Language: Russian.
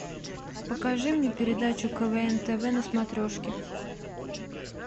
покажи мне передачу квн тв на смотрешке